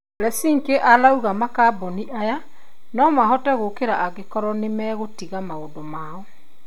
Leshinsky arauga makabuni aya nomahote gũkĩra angĩkorwo nĩmegũtiga maũndũ mao